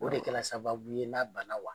O de kɛla sababu ye n'a ban na wa?